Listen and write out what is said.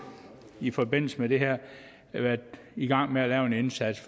i forbindelse med det her været i gang med at lave en indsats